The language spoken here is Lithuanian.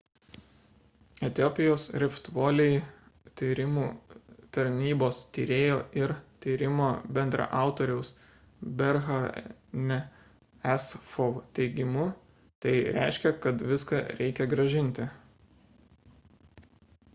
etiopijos rift valley tyrimų tarnybos tyrėjo ir tyrimo bendraautoriaus berhane'o asfaw teigimu tai reiškia kad viską reikia grąžinti